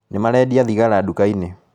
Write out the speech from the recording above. Nĩmarendia thigara nduka-inĩ.